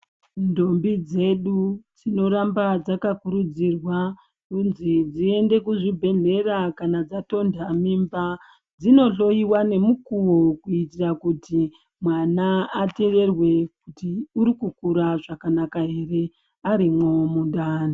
Ndombi dzedu dzinoramba dzakakurudzirwa kunzi dziende kuzvibhedhlera kanadzatonda mimba dzinohloiwa nomukuvo. Kuitira kuti mwana ateverwe kuti kukura zvakanaka ere arimwo mundani.